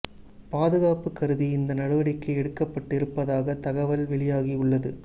பாதுகாப்பு கருதி இந்த நடவடிக்கை எடுக்கப்பட்டு இருப்பதாக தகவல் வெளியாகி உள்ளது